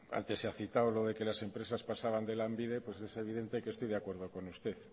antes se ha citado lo de que las empresas pasaban de lanbide es evidente que estoy de acuerdo con usted